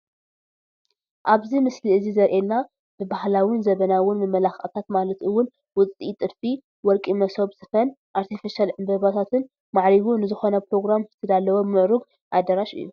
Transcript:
ኣብዚ ምስሊ እዚ ዘሪኤና ብባህላውን ዘበናውን መመላኽዕታት ማለት ውን ውፅኢት ጥልፊ፣ ወርቂ መሶብ ስፊን ኣርቴፊሻል ዕንበባታትን ማዕሪጉ ንዝኾነ ኘሮግራም ዝተዳለወ ምልኩዕ ኣዳራሽ/ቦታ እዩ፡፡